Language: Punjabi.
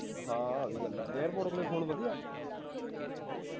ਹਾਂ ਆਹ ਵੀ ਗੱਲ ਆ airpods ਵਾਲੇ phone ਵਧੀਆ